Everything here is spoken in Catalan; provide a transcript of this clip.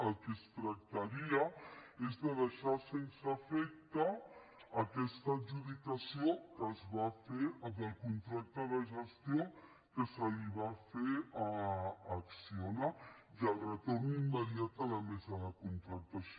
del que es tractaria és de deixar sense efecte aquesta adjudicació que es va fer del contracte de gestió que se li va fer a acciona i del retorn immediat a la mesa de contractació